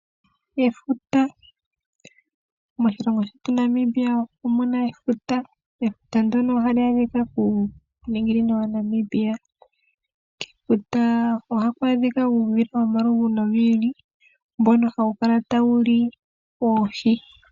Moshilongo shetu Namibia omuna efuta. Efuta ndono ohali adhika kuuninginino waNamibia. Kefuta ohaku adhika uudhila womaludhi gi ili nogi ili mbono hawu kala tawuli oohi.